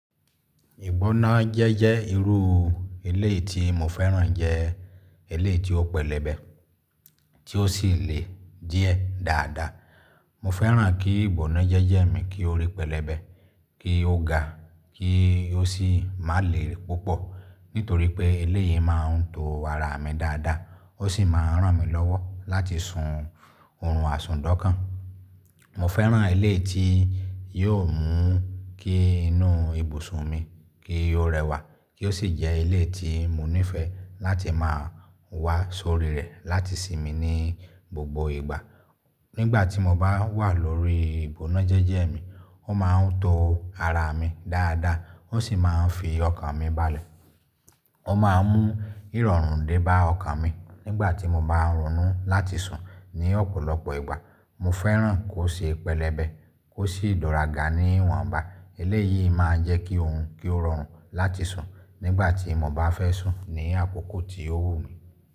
Ìgbónájẹ́jẹ́ irú eleyii tí mo fẹ́ràn jẹ́ eleyii tí ó pẹlẹbẹ, tí ó sì le díẹ̀ dáadáa. Mo fẹ́ràn kí ìgbónájẹ́jẹ́ mi kí ó rí pẹlẹbẹ, kí ó ga, kí ó sì má le púpọ̀. Nítorí pé eleyii máa ń to ara mi dáadáa, ó sì máa ràn mí lọ́wọ́ láti sun oorun àsùn dánkan. Mo fẹ́ràn eleyii tí yóò mú kí inú ibùsùn mi kí ó rẹwà, kí ó sì jẹ́ eleyii tí mo nífẹ̀ẹ́ láti máa wà sórí rẹ̀ láti sinmi ní gbogbo ìgbà. Nígbà tí mo bá wà lórí ìgbónájẹ́jẹ́ mi, ó máa ń to ara mi dáadáa, ó sì máa ń fi ọkàn mi balẹ̀. Ó máa ń mú ìrọ̀rùn dé bá ọkàn mi nígbà tí mo bá ń ronu láti sùn ní ọ̀pọ̀lọpọ̀ ìgbà. Mo fẹ́ràn kó ṣe pẹlẹbẹ, kó sì dura ga níwọ̀nba. Eleyìí máa ń jẹ́ kí òun kí ó rọrùn láti sùn nígbà tí mo bá fẹ́ sùn ní àkókò tí ó wù mí.